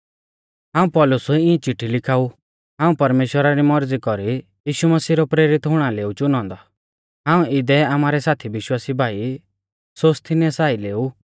हाऊं पौलुस इऐं चिट्ठी लिखाऊ हाऊं परमेश्‍वरा री मौरज़ी कौरी यीशु मसीह रौ प्रेरित हुणा लै ऊ चुनौ औन्दौ हाऊं इदै आमारै साथी विश्वासी भाई सोस्थिनेसा आइलै ऊ